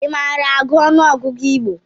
I maara agụ ọnụọgụgụ Igbo?